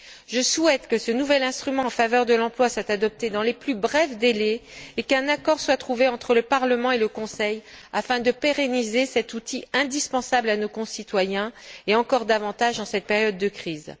Je souhaite que ce nouvel instrument en faveur de l'emploi soit adopté dans les plus brefs délais et qu'un accord soit trouvé entre le Parlement et le Conseil afin de pérenniser cet outil indispensable à nos concitoyens, qui l'est encore plus en cette période de crise.